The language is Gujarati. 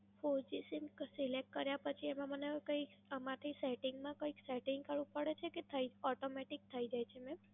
Four G Sim Select કર્યા પછી, આમાં મને કંઈ આમાંથી Setting માં કંઈક Setting કરવું પડે છે કે થઇ Automatic થઈ જાય છે મેમ?